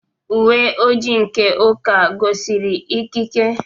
Uwe ojii nke Uka gọziri ikike.